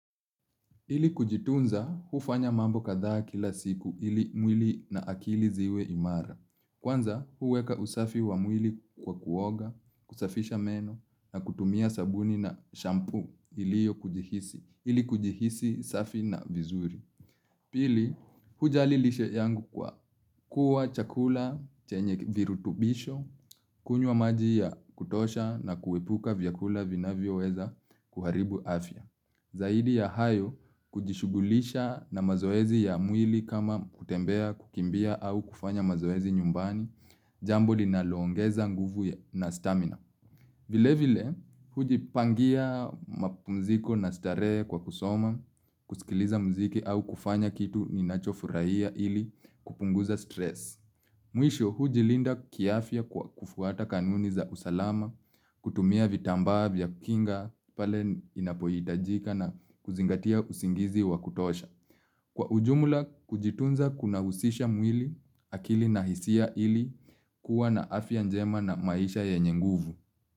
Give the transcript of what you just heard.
Ili kujitunza hufanya mambo kadhaa kila siku ili mwili na akili ziwe imara. Kwanza huweka usafi wa mwili kwa kuoga, kusafisha meno na kutumia sabuni na shampoo iliyo kujihisi, ili kujihisi safi na vizuri. Pili, hujali lishe yangu kwa kuwa chakula chenye virutubisho, kunywa maji ya kutosha na kuepuka vyakula vinavyoweza kuharibu afya. Zaidi ya hayo kujishughulisha na mazoezi ya mwili kama kutembea, kukimbia au kufanya mazoezi nyumbani, jambo linaloongeza nguvu na stamina. Vilevile, hujipangia mapumziko na starehe kwa kusoma, kusikiliza muziki au kufanya kitu ninachofurahia ili kupunguza stress. Mwisho, hujilinda kiafya kwa kufuata kanuni za usalama, kutumia vitambaa vya kinga pale inapohitajika na kuzingatia usingizi wa kutosha. Kwa ujumula, kujitunza kunahusisha mwili akili na hisia ili kuwa na afya njema na maisha yenye nguvu.